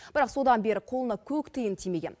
бірақ содан бері қолына көк тиын тимеген